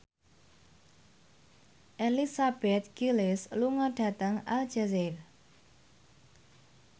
Elizabeth Gillies lunga dhateng Aljazair